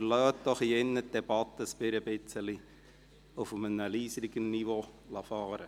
Aber lassen Sie doch hier im Saal die Debatte ein klein wenig auf einem leiseren Niveau fahren.